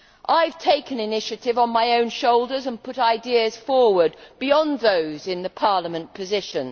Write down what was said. I have taken the initiative on my own shoulders and put ideas forward beyond those in the Parliament position.